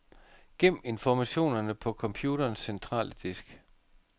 Gem informationerne på computerens centrale disk.